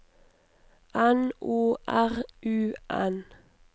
N O R U N